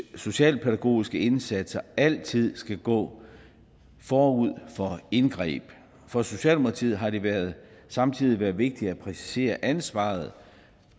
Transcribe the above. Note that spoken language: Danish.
socialpædagogiske indsatser altid skal gå forud for indgreb for socialdemokratiet har det samtidig været vigtigt at præcisere ansvaret